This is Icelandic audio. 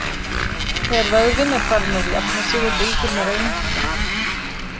Þegar vöðvinn er farinn að jafna sig og bólgurnar að minnka.